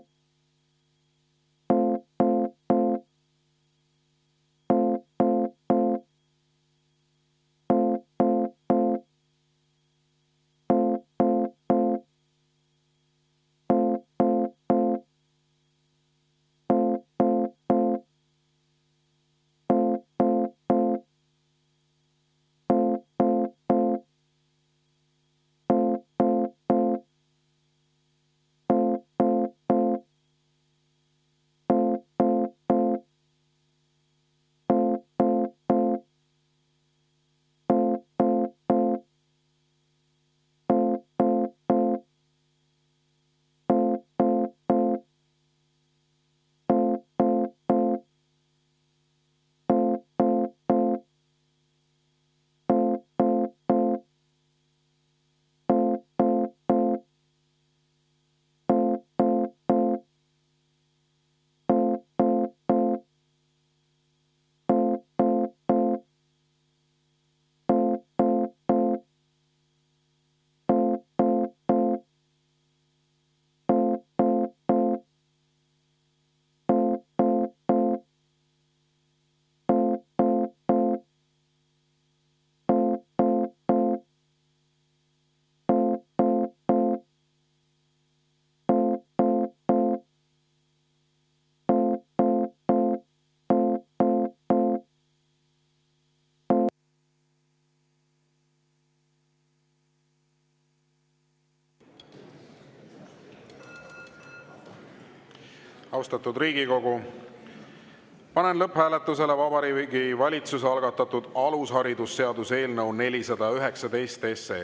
Austatud Riigikogu, panen lõpphääletusele Vabariigi Valitsuse algatatud alusharidusseaduse eelnõu 419.